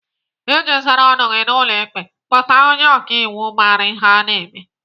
Iji zara ọnụ gị n'ụlọ ikpe, kpọta onye ọkaiwu mara ihe ọ na-eme.